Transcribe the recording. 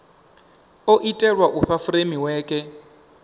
o itelwa u fha furemiweke